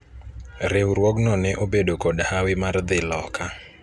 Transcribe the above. riwruogno ne obedo kod hawi mar dhi loka